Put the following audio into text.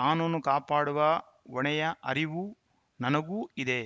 ಕಾನೂನು ಕಾಪಾಡುವ ಹೊಣೆಯ ಅರಿವು ನನಗೂ ಇದೆ